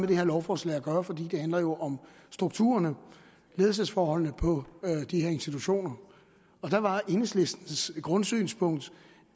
det her lovforslag at gøre for det handler jo om strukturerne ledelsesforholdene på de her institutioner her var enhedslistens grundsynspunkt